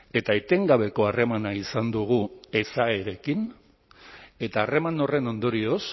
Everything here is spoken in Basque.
eta etengabeko harremana izan dugu ezaerekin eta harreman horren ondorioz